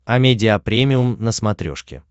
амедиа премиум на смотрешке